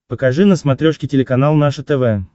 покажи на смотрешке телеканал наше тв